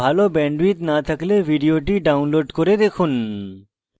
ভাল bandwidth না থাকলে ভিডিওটি download করে দেখুন